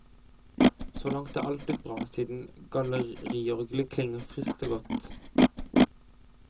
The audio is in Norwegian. Så langt er alt blitt bra siden galleriorglet klinger friskt og godt.